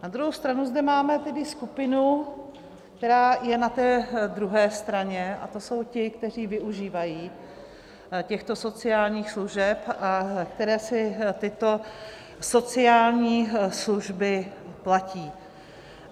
Na druhou stranu zde máme tedy skupinu, která je na té druhé straně, a to jsou ti, kteří využívají těchto sociálních služeb a kteří si tyto sociální služby platí.